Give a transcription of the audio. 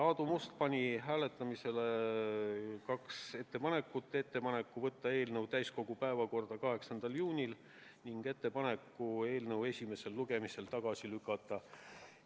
Aadu Must pani hääletamisele kaks ettepanekut: ettepaneku võtta eelnõu täiskogu päevakorda 8. juuniks ning ettepaneku eelnõu esimesel lugemisel tagasi lükata.